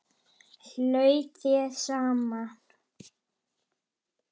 Haltu þér saman